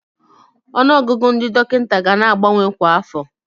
Ọnụọgụgụ ndị dọkịta ga na-abawanye kwa afọ.